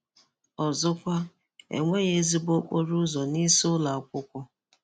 Ọzọkwa, e nweghi ezigbo okporo ụzọ nisi ulo akwụkwọ.